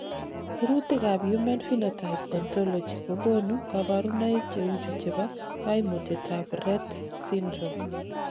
Sirutikab Human Phenotype Ontology kokonu koborunoik cheuchu chebo koimutietab Rett syndrome .